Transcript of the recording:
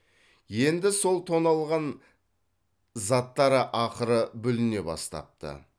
енді сол тонналған заттары ақыры бүліне бастапты